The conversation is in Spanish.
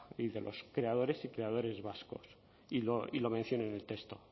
y de los creadores y creadores vascos y lo menciono en el texto